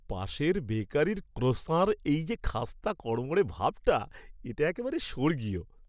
পাশের বেকারির ক্রোস্যাঁর এই যে খাস্তা কড়মড়ে ভাবটা, এটা একেবারে স্বর্গীয়!